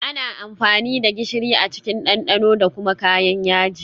Ana amfani da gishiri a cikin dandano da kuma kayan yaji